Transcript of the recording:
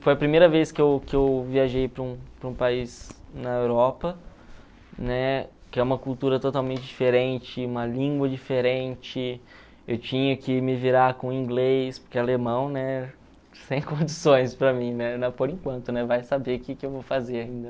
Foi a primeira vez que eu que eu viajei para um para um país na Europa, né, que é uma cultura totalmente diferente, uma língua diferente, eu tinha que me virar com inglês, porque alemão, né, sem condições para mim, né por enquanto, vai saber o que eu vou fazer ainda.